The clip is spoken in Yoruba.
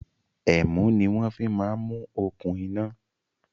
Ẹ̀mú ni wọn fi máa ń mú okùn iná